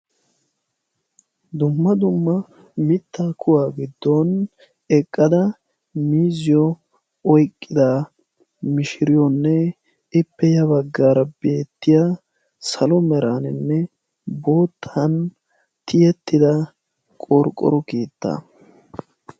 dumma dumma mitaa kuwaa gidon eqada miiziyo oyqqida mishiriyonne ippe ya bagaara beetiya salo meraninne bootan tiyetida qorqqoro keettaa.